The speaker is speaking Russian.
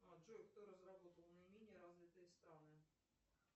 а джой кто разработал наименее развитые страны